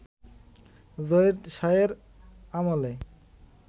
জহির শাহের আমলে